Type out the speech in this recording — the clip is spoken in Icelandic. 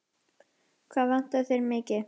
Hvað vantar þig mikið?